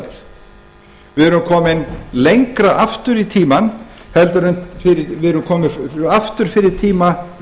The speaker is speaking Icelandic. við erum komin lengra aftur í tímann við erum komin aftur fyrir tíma